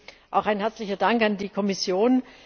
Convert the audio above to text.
Deswegen auch ein herzlicher Dank an die Kommission.